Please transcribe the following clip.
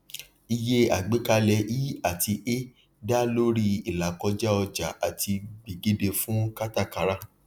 iye àgbékalẹ i àti e da lórí ilakoja ọjà àti gbedeke fún katakara